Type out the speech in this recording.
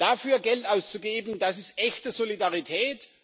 Dafür Geld auszugeben, das ist echte Solidarität.